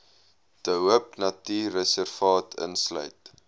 de hoopnatuurreservaat insluit